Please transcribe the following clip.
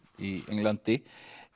í Englandi